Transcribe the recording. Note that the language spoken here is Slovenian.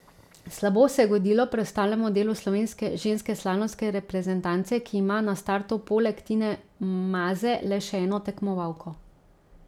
Slabo se je godilo preostalemu delu slovenske ženske slalomske reprezentance, ki ima na startu poleg Tine Maze le še eno tekmovalko.